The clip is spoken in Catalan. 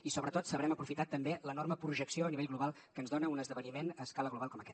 i sobretot sabrem aprofitar també l’enorme projecció a nivell global que ens dona un esdeveniment a escala global com aquest